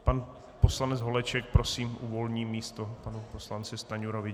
Pan poslanec Holeček, prosím, uvolní místo panu poslanci Stanjurovi.